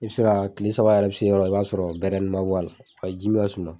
I bɛ se ka kile saba yɛrɛ bɛ se yɔrɔ i b'a sɔrɔ bɛrɛnin man bɔ a la ji